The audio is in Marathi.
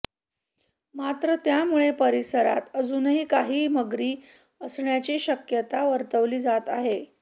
मात्र यामुळं परिसरात अजूनही काही मगरी असण्याची शक्यता वर्तवली जात आहे